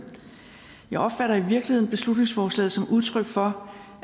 jeg opfatter i virkeligheden beslutningsforslaget som udtryk for